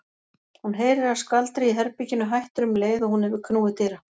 Hún heyrir að skvaldrið í herberginu hættir um leið og hún hefur knúið dyra.